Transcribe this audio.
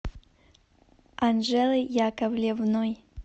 анжелой яковлевной